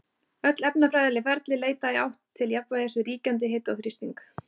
Öll efnafræðileg ferli leita í átt til jafnvægis við ríkjandi hita og þrýsting.